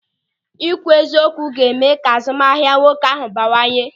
Ị kwụ eziokwu ga-eme ka azụmahịa nwoke ahụ bawanye.